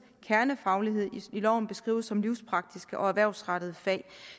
kernefaglighed i loven beskrives som livspraktiske og erhvervsrettede fag